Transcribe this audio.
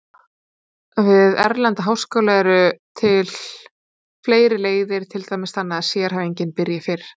Við erlenda háskóla eru til fleiri leiðir, til dæmis þannig að sérhæfing byrji fyrr.